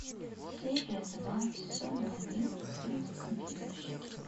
серия два сезона один фильма компьютерщики